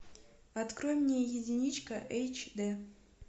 открой мне единичка эйч д